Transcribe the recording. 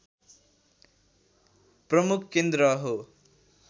प्रमुख केन्द्र हो